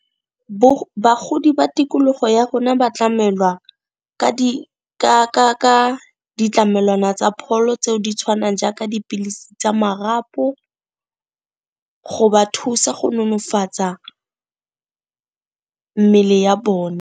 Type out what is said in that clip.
Bagodi ba tikologo ya rona ba tlamelwa ka ditlamelwana tsa pholo tseo di tshwanang jaaka dipilisi tsa marapo go ba thusa go nonofatsa mmele ya .